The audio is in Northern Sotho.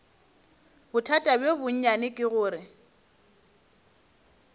bothata bjo bonnyane ke gore